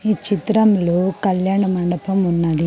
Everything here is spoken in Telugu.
ఈ చిత్రంలో కళ్యాణ మండపం ఉన్నది.